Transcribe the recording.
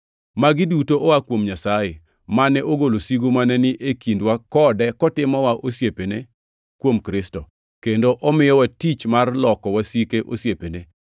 Magi duto oa kuom Nyasaye, mane ogolo sigu mane ni e kindwa kode kotimowa osiepene kuom Kristo, kendo omiyowa tich mar loko wasike osiepene: